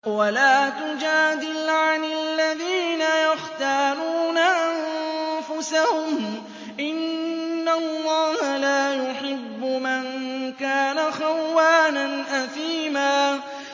وَلَا تُجَادِلْ عَنِ الَّذِينَ يَخْتَانُونَ أَنفُسَهُمْ ۚ إِنَّ اللَّهَ لَا يُحِبُّ مَن كَانَ خَوَّانًا أَثِيمًا